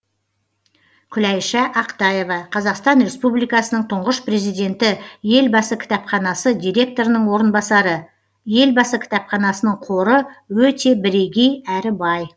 күләйша ақтаева қазақстан республикасының тұңғыш президенті елбасы кітапханасы директорының орынбасары елбасы кітапханасының қоры өте бірегей әрі бай